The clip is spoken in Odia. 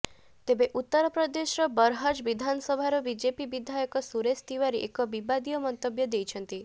ତେବେ ଉତ୍ତର ପ୍ରଦେଶର ବରହଜ୍ ବିଧାନସଭାର ବିଜେପି ବିଧାୟକ ସୁରେଶ ତିଓ୍ୱାରୀ ଏକ ବିବାଦୀୟ ମନ୍ତବ୍ୟ ଦେଇଛନ୍ତି